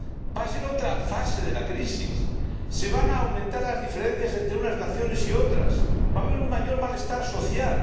va a ser otra fase de la crisis, van a aumentar las diferencias entre unas naciones y otras, va a haber un mayor malestar social.